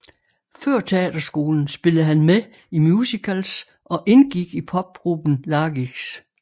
Før teaterskolen spillede han med i musicals og indgik i popgruppen Lagix